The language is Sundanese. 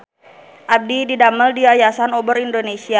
Abdi didamel di Yayasan Obor Indonesia